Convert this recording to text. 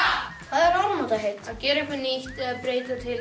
er áramótaheit að gera eitthvað nýtt eða breyta til